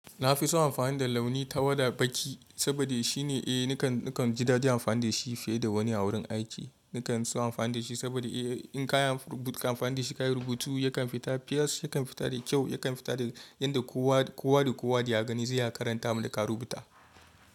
Na fi so amfani da launi tawada baki saboda shi ne nakan ji da dadi amfani da shi fiye da wani a wurin aiki. Nakan so amfani da shi saboda in kayi rubutu ka amfani da shi ka yi rubutu yakan fita fes, yakan fita da kyau, yakan fita da yadda kowa da kowa da ya gani zai iya karanta abun da ka rubuta.